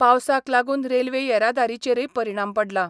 पावसाक लागून रेल्वे येरादारीचेरय परिणाम पडला.